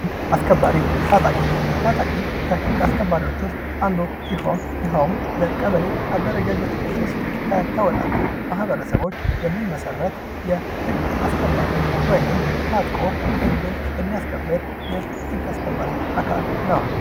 ህግ አስከባሪ ፦ታጣቂ፦ ታጣቂ ከህግ አስከባሪዎች ውስጥ አንዱ ሲሆን ይኸውም በቀበሌ አደረጃጀቶች ውስጥ ከተውጣጡ ማህበረሰቦች የሚመሰረት የህግ አስከባሪ ወይም ታጥቆ ህግን የሚያስከብር የህግ አስከባሪ አካል ነው።